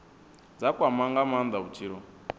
dza kwama nga maanda vhutshilo